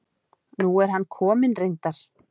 Nú er hann kominn reyndar.